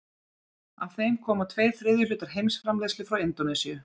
Af þeim koma tveir þriðju hlutar heimsframleiðslu frá Indónesíu.